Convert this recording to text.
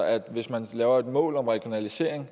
at hvis man laver et mål om regionalisering